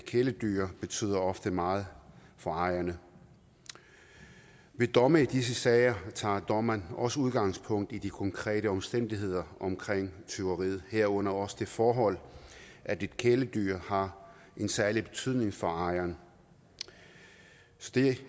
kæledyr betyder ofte meget for ejerne ved domme i disse sager tager dommeren også udgangspunkt i de konkrete omstændigheder omkring tyveriet herunder også det forhold at et kæledyr har en særlig betydning for ejeren så det